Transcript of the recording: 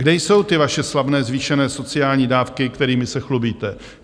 Kde jsou ty vaše slavné zvýšené sociální dávky, kterými se chlubíte?